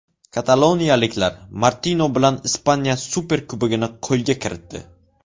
Kataloniyaliklar Martino bilan Ispaniya Superkubogini qo‘lga kiritdi.